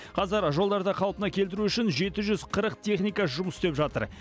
қазір жолдарды қалпына келтіру үшін жеті жүз қырық техника жұмыс істеп жатыр